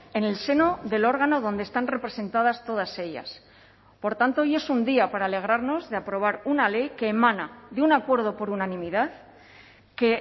en el seno del órgano donde están representadas todas ellas por tanto hoy es un día para alegrarnos de aprobar una ley que emana de un acuerdo por unanimidad que